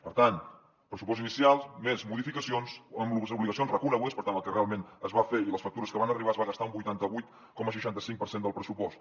per tant pressupost inicial més modificacions amb les obligacions reconegudes per tant el que realment es va fer i les factures que van arribar es va gastar un vuitanta vuit coma seixanta cinc per cent del pressupost